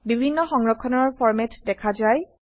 বিভিন্ন সংৰক্ষণৰ ফৰম্যাট দেখা যায়